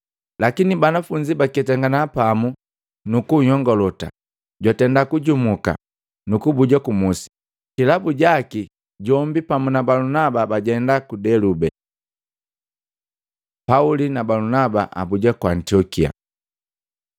Lakini banafunzi pabaketangana pamu nukunnyongolota, jwatenda kujumuka, nukubuja kumusi. Kilabu jaki, jombi pamu na Balunaba bajenda ku Delube. Pauli na Balunaba abuja ku Antiokia